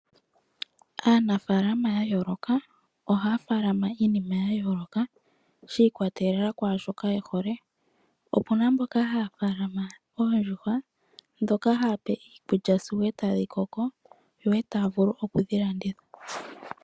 Aanafalama ya yooloka ohaya faalama iinima ya yooloka shi ikwatelela kwaa shoka ye hole. Opu na mboka haya faalama oondjuhwa ndhoka haya pe iikulya sigo e tadhi koko yo e taya vulu oku dhi landitha.